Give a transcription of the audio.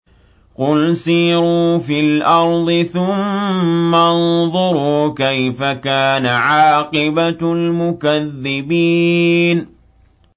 قُلْ سِيرُوا فِي الْأَرْضِ ثُمَّ انظُرُوا كَيْفَ كَانَ عَاقِبَةُ الْمُكَذِّبِينَ